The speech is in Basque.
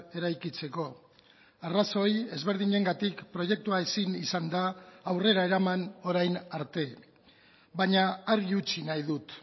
eraikitzeko arrazoi ezberdinengatik proiektua ezin izan da aurrera eraman orain arte baina argi utzi nahi dut